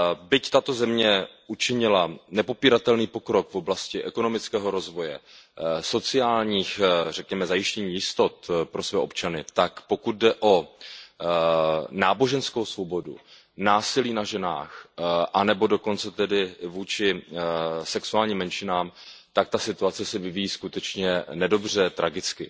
Byť tato země učinila nepopíratelný pokrok v oblasti ekonomického rozvoje, zajištění řekněme sociálních jistot pro své občany, tak pokud jde o náboženskou svobodu, násilí na ženách anebo dokonce tedy vůči sexuálním menšinám, tak ta situace se vyvíjí skutečně nedobře, tragicky.